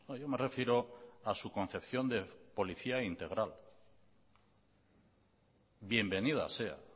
yo me refiero a su concepción de policía integral bienvenida sea